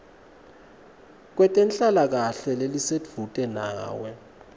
kwetenhlalakahle lelisedvute nawe